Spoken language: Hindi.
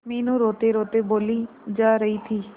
मीनू रोतेरोते बोली जा रही थी